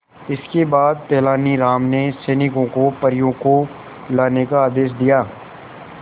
इसके बाद तेलानी राम ने सैनिकों को सब परियों को लाने का आदेश दिया